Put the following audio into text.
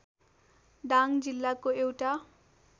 दाङ जिल्लाको एउटा